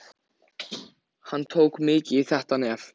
Hann tók mikið í þetta nef.